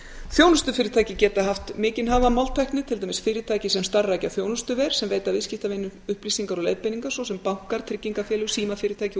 þjónustufyrirtæki geta haft mikinn hag af máltækni til dæmis fyrirtæki sem starfrækja þjónustuver sem veita viðskiptavinum upplýsingar og leiðbeiningar svo sem bankar tryggingafélög símafyrirtæki og